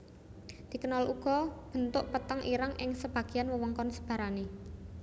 Dikenal uga bentuk peteng ireng ing sebagian wewengkon sebarane